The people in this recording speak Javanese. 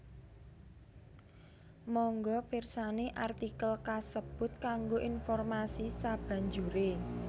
Mangga pirsani artikel kasebut kanggo informasi sabanjuré